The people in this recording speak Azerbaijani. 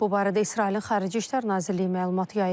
Bu barədə İsrailin Xarici İşlər Nazirliyi məlumat yayıb.